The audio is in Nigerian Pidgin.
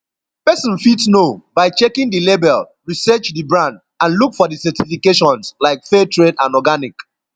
pesin fit know by checking di label research di brand and look for di certifications like fair trade and organic